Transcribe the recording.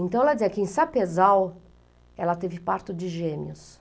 Então ela dizia que em Sapezal ela teve parto de gêmeos.